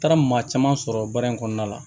Taara maa caman sɔrɔ baara in kɔnɔna la